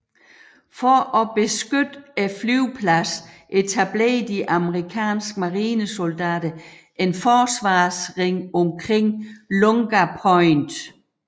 For at beskytte flyvepladsen etablerede de amerikanske marinesoldater en forsvarsring omkring Lunga Point